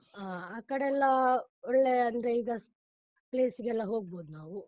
ಆ ಆಕಡೆ ಎಲ್ಲಾ ಒಳ್ಳೆ ಅಂದ್ರೆ ಈಗ place ಗೆಲ್ಲ ಹೋಗ್ಬೋದು ನಾವು.